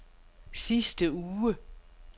sidste uge